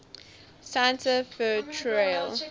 santa fe trail